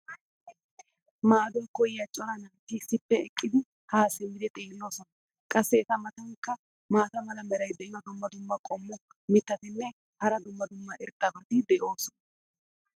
maaduwa koyiya cora naati issippe eqidi haa simmidi xeeloosona. qassi eta matankka maata mala meray diyo dumma dumma qommo mitattinne hara dumma dumma irxxabati de'oosona.